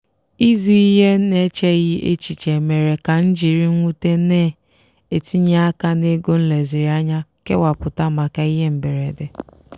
ịzụ ihe n'echeghị echiche mere ka m jiri mwute na-etinye aka n'ego m leziri anya kewapụta maka ihe mberede.